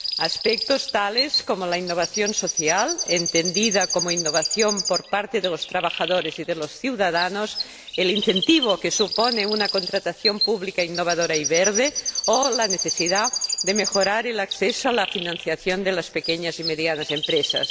aspectos tales como la innovación social —entendida como innovación por parte de los trabajadores y de los ciudadanos—, el incentivo que supone una contratación pública innovadora y verde, o la necesidad de mejorar el acceso a la financiación de las pequeñas y medianas empresas.